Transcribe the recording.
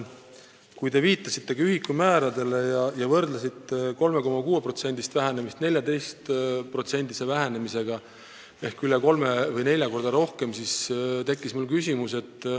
Kui te viitasite ühikumääradele ja võrdlesite 3,6%-list vähenemist 14%-lise vähenemisega, mis on üle kolme või nelja korra rohkem, siis tekkis mul küsimus.